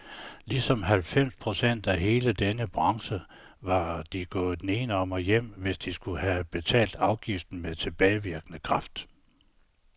Ligesom halvfems procent af hele denne branche var de gået nedenom og hjem, hvis de skulle have betalt afgiften med tilbagevirkende kraft.